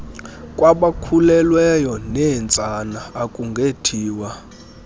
kwabakhulelweyo neentsana akungethiwa